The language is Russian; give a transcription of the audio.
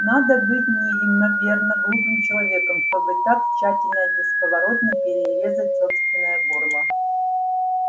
надо быть неимоверно глупым человеком чтобы так тщательно и бесповоротно перерезать собственное горло